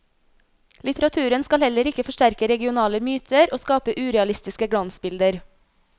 Litteraturen skal heller ikke forsterke regionale myter og skape urealistiske glansbilder.